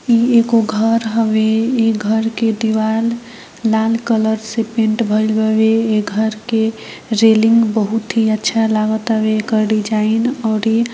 इ एगो घर हवे इ घर के दीवाल लाल कलर से पेन्ट भइल हवे इ घर के रेलिंग बहुत ही अच्छा लागेतावे इ घर की डिजाइन ओर --